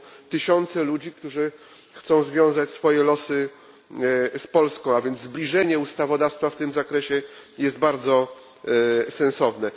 To są tysiące ludzi, którzy chcą związać swoje losy z Polską, a więc zbliżenie ustawodawstwa w tym zakresie jest bardzo sensowne.